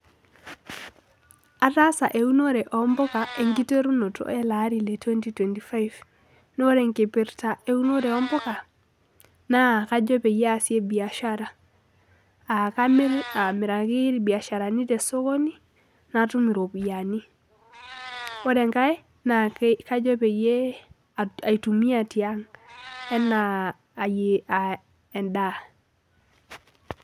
Ataasa eunore ompuka enkiterunoto eleari letwenty twenty five, naa ore enkipirta ompuka naa kajo peyie aasie biashara , aa kamir amiraki irbiasharani tesokoni natum , ore enkae naa kajo peyie aitumia tiang enaa endaa.